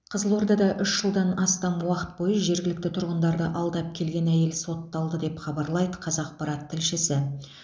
қызылордада үш жылдан астам уақыт бойы жергілікті тұрғындарды алдап келген әйел сотталды деп хабарлайды қазақпарат тілшісі